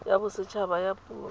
ya boset haba ya puo